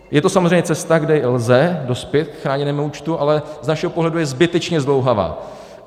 Je to samozřejmě cesta, kdy lze dospět k chráněnému účtu, ale z našeho pohledu je zbytečně zdlouhavá.